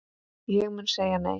Ég mun segja nei.